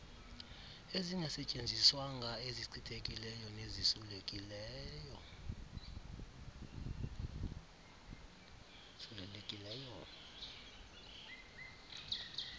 ezingasetyenziswanga ezichithekileyo nezisulelekileyo